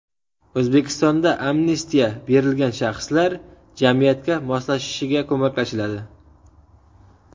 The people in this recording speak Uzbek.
O‘zbekistonda amnistiya berilgan shaxslar jamiyatga moslashishiga ko‘maklashiladi.